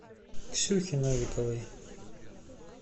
ксюхи новиковой